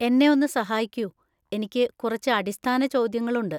എന്നെ ഒന്ന് സഹായിക്കൂ, എനിക്ക് കുറച്ച് അടിസ്ഥാന ചോദ്യങ്ങളുണ്ട്.